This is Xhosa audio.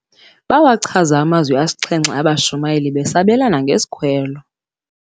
Bawachaza amazwi asixhenxe abashumayeli besabelana ngesikhwelo.